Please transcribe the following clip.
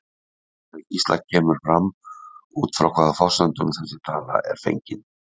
Í svari Gísla kemur fram út frá hvaða forsendum þessi tala er fengin.